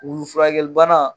Wulu furakɛli bana